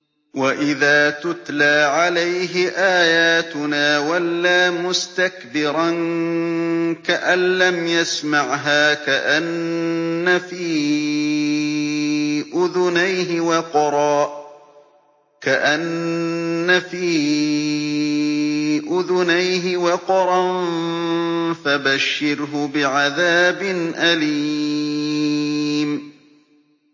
وَإِذَا تُتْلَىٰ عَلَيْهِ آيَاتُنَا وَلَّىٰ مُسْتَكْبِرًا كَأَن لَّمْ يَسْمَعْهَا كَأَنَّ فِي أُذُنَيْهِ وَقْرًا ۖ فَبَشِّرْهُ بِعَذَابٍ أَلِيمٍ